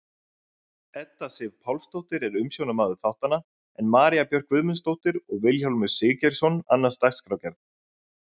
Edda Sif Pálsdóttir er umsjónarmaður þáttanna en María Björk Guðmundsdóttir og Vilhjálmur Siggeirsson annast dagskrárgerð.